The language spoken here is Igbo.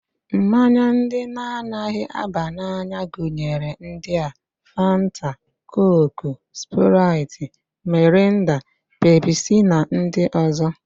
Mmanya ndị na-anaghị aba n'anya gụnyere ndị a: Fanta, Kooku, Spraịt, Mirinda, Pepsi na ndị ọzọ